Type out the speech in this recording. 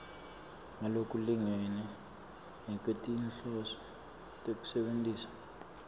ngalokulingene ngekwetinhloso tekusebentisa